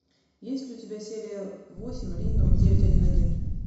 есть ли у тебя серия восемь рино девять один один